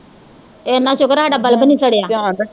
ਏਨਾਂ ਸੁਕਰ ਸਾਡਾ ਬਲਬ ਨੀ ਸੜਿਆ